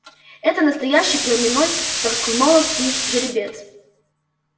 это настоящий племенной тарлтоновский жеребец